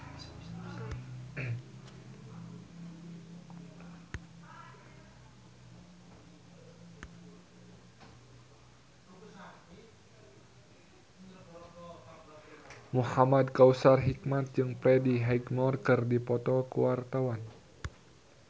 Muhamad Kautsar Hikmat jeung Freddie Highmore keur dipoto ku wartawan